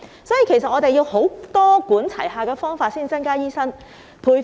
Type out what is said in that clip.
因此，我們要用多管齊下的方法增加醫生。